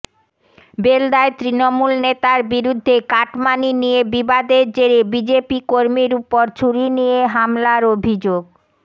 বেলদায় তৃণমূল নেতার বিরুদ্ধে কাটমানি নিয়ে বিবাদের জেরে বিজেপি কর্মীর ওপর ছুরি নিয়ে হামলার অভিযোগ